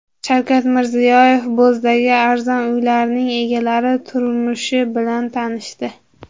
Shavkat Mirziyoyev Bo‘zdagi arzon uylarning egalari turmushi bilan tanishdi.